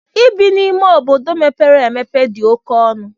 Ibi n'ime obodo mepere emepe dị oke ọnụ.